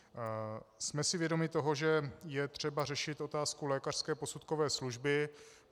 Jsme si vědomi toho, že je třeba řešit otázku lékařské posudkové služby.